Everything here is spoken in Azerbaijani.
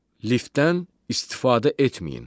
Liftdən istifadə etməyin.